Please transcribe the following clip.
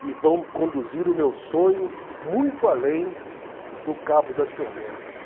e vão conduzir o meu sonho muito além do Cabo das Tormentas.